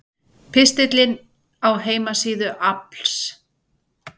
Pistillinn á heimasíðu AFLs